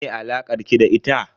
Me alakar ki da ita?